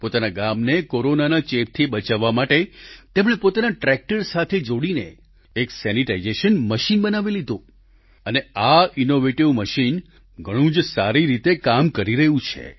પોતાના ગામને કોરોનાના ચેપથી બચાવવા માટે તેમણે પોતાના ટ્રેક્ટર સાથે જોડીને એક સેનિટાઈઝેશન મશીન બનાવી લીધું અને આ ઈનોવેટિવ મશીન ઘણું જ સારી રીતે કામ કરી રહ્યું છે